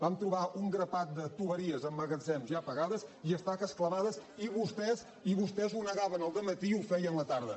vam trobar un grapat de canonades en magatzems ja pagades i estaques clavades i vostès ho negaven al dematí i ho feien a la tarda